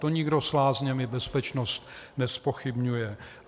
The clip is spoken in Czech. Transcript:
To nikdo s lázněmi bezpečnost nezpochybňuje.